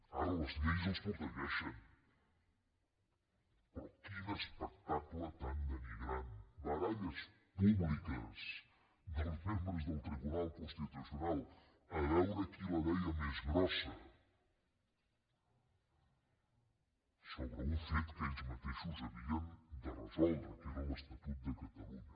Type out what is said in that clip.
ara les lleis els protegeixen però quin espectacle tan denigrant baralles públiques dels membres del tribunal constitucional a veure qui la deia més grossa sobre un fet que ells mateixos havien de resoldre que era l’estatut de catalunya